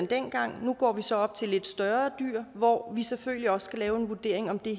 dengang nu går vi så op til lidt større dyr hvor vi selvfølgelig også skal lave en vurdering af om det